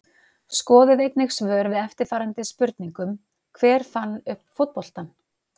Skoðið einnig svör við eftirfarandi spurningum Hver fann upp fótboltann?